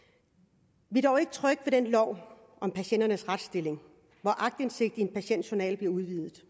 vi er dog ikke trygge ved den lov om patienters retsstilling hvor aktindsigten i patientjournaler bliver udvidet